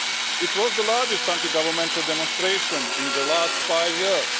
It was the largest anti governmental demonstration in the last five years.